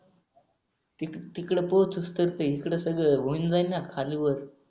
E तिकड पाऊसस करते इकड सगळ होऊन जाईन न खाली वर.